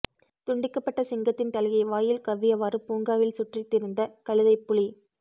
துண்டிக்கப்பட்ட சிங்கத்தின் தலையை வாயில் கவ்வியவாறு பூங்காவில் சுற்று திரிந்த கழுதைப் புலி